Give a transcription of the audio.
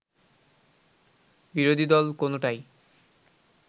বিরোধী দল কোনোটাই